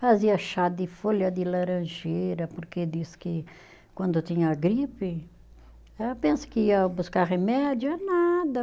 Fazia chá de folha de laranjeira, porque diz que quando tinha gripe, pensa que ia buscar remédio, é nada.